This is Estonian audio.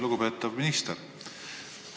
Lugupeetav minister!